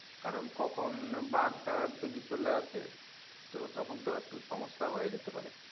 কারণ কখন বাঘ টাগ যদি চলে আসে তো তখন তো একটু সমস্যা হয়ে যেতে পারে